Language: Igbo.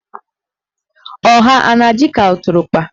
Ọha a na-adị ka ụtụrụkpa?